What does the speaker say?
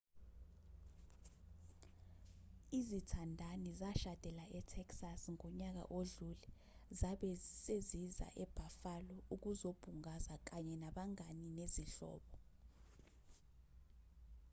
izithandani zashadela e-texas ngonyaka odlule zabe seziza e-buffalo ukuzobungaza kanye nabangane nezihlobo